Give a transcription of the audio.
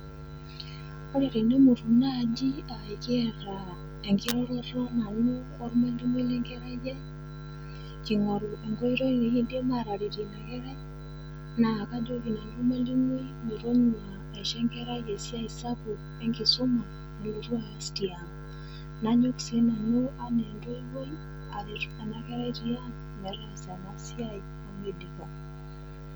Ore nabo emutu naaji aa kiata enkiroroto nanu olmwalimui le nkerai yai, king'oru enkoitoi nekindim ataretie ina kerrai, naa kajoki olmwalimui metonyua aisho enkerai esiai sapuk enkisoma nalotu aas tiang. Nanyok sii nanu anaa entoiwoi aretu ena kerai tiang' metaasa ena siai omeidipa.